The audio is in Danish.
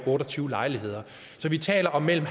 otte og tyve lejligheder så vi taler om mellem